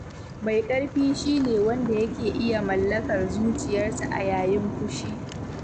Mai ƙarfi shi ne wanda yake iya mallakar zuciyarsa a yayin fushi.